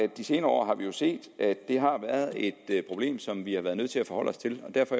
de senere år har set at det har været et problem som vi har været nødt til at forholde os til derfor